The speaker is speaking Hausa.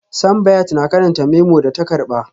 Simbiat na karanta memo da ta karba